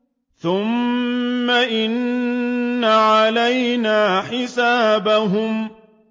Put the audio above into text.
ثُمَّ إِنَّ عَلَيْنَا حِسَابَهُم